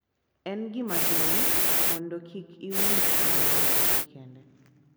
En gima duong’ mondo kik iwinj mana wechegi kende .